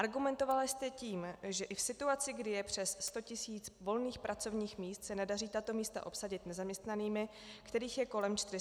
Argumentovala jste tím, že i v situaci, kdy je přes 100 tis. volných pracovních míst, se nedaří tato místa obsadit nezaměstnanými, kterých je kolem 460 tis.